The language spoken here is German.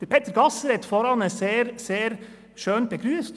Peter Gasser hat eben sehr, sehr schön begrüsst: